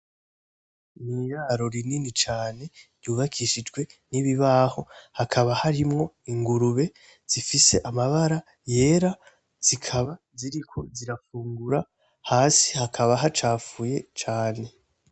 N’iraro rinini cane ryubakishijwe n’ibibaho hakaba harimwo Ingurube zifise amabara yera zikaba ziriko zirafungura ,hasi hakaba hacafuye cane.